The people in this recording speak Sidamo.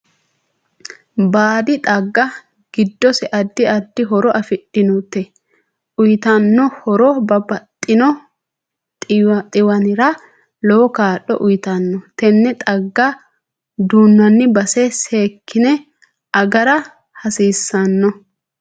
Baadi xaaga giddose addi addi horo afidhinote uyiitanno horo babbaxino xiwanira lowo kaa'lo uyiitanno. Tenne xaaga duunani base seekine agara hasiisanno